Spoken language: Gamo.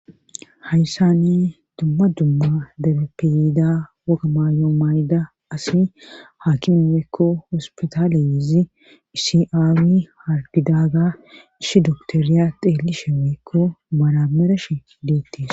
hayssane dumma dumma dabepeyida woga maayo mayda asi haakimemeekko ospitaale izi iisiaawi hargidaaga ishi doktooriya xeeli she meekko maramereshe hideettiis